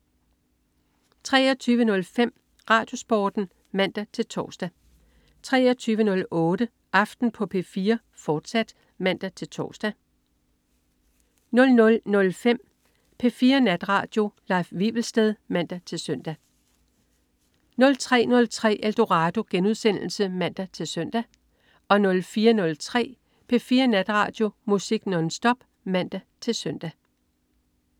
23.05 RadioSporten (man-tors) 23.08 Aften på P4, fortsat (man-tors) 00.05 P4 Natradio. Leif Wivelsted (man-søn) 03.03 Eldorado* (man-søn) 04.03 P4 Natradio. Musik nonstop (man-søn)